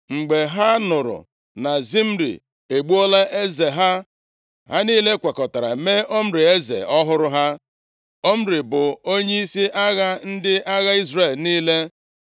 Mgbe ha nụrụ na Zimri egbuola eze ha, ha niile kwekọtara mee Omri eze ọhụrụ ha. Omri bụ onyeisi agha ndị agha Izrel niile.